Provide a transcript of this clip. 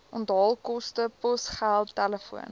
onthaalkoste posgeld telefoon